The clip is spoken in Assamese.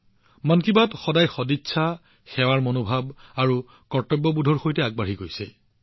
মন কী বাতে সদায় সদিচ্ছা সেৱামনোভাৱ আৰু কৰ্তব্যবোধৰ সৈতে আগবাঢ়ি আহিছে